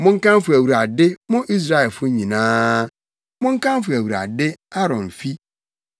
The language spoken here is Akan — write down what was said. Monkamfo Awurade, mo Israelfo nyinaa; monkamfo Awurade, Aaron fi;